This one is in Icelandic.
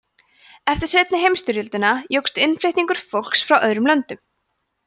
eftir seinni heimsstyrjöldina jókst innflutningur fólks frá öðrum löndum